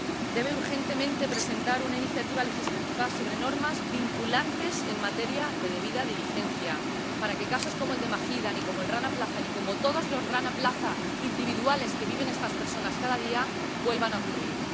Debe urgentemente presentar una iniciativa legislativa sobre normas vinculantes en materia de debida diligencia, para que casos como el de Mahida, como el del Rana Plaza, como el de todos los Rana Plaza individuales que viven estas personas cada día nunca vuelvan a ocurrir.